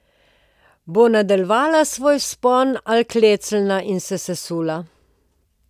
Bo nadaljevala svoj vzpon ali klecnila in se sesula?